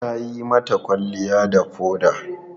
Ta yi mata kwalliya da foda.